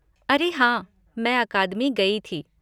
अरे! हाँ, मैं अकादमी गई थी।